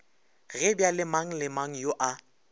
ge bjalemang le mangyo a